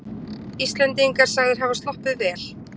Íslendingar sagðir hafa sloppið vel